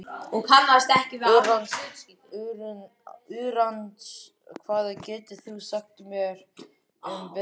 Úranus, hvað geturðu sagt mér um veðrið?